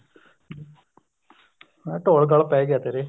ਹੁਣ ਤਾਂ ਢੋਲ ਗਲ ਪੈ ਗਿਆ ਤੇਰੇ